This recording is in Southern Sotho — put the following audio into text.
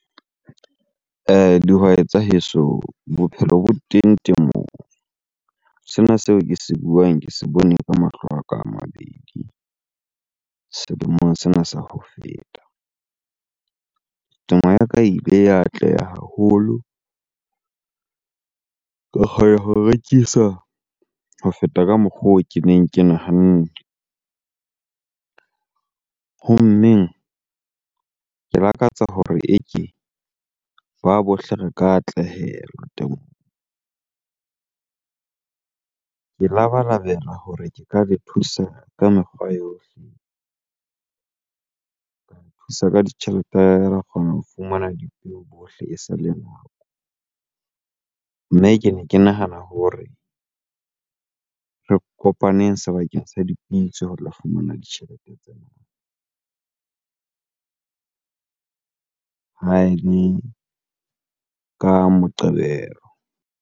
Dihwai tsa heso, bophelo bo teng temong. Sena seo ke se buang ke se bone ke mahlo a ka a mabedi selemong sena sa ho feta. Temo ya ka ile ya atleha haholo, ka kgona ho rekisa ho feta ka mokgwa oo ke neng ke nahanne. Ho mmeng, ke lakatsa hore eke ba bohle re ka atlehela temong. Ke labalabela hore ke ka le thusa ka mekgwa yohle, ka le thusa ka ditjhelete ra kgona ho fumana dipeo bohle esale nako. Mme kene ke nahana hore re kopaneng sebakeng sa dipitso ho tla fumana ditjhelete tsena ka Moqebelo.